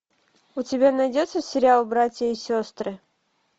у тебя найдется сериал братья и сестры